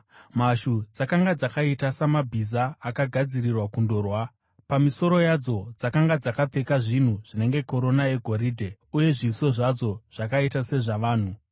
Mhashu dzakanga dzakaita samabhiza agadzirirwa kundorwa. Pamisoro yadzo dzakanga dzakapfeka zvinhu zvinenge korona yegoridhe, uye zviso zvadzo zvakaita sezvavanhu.